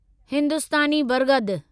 हिंदुस्तानी बरगद